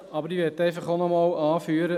Aber ich will einfach auch nochmals anführen: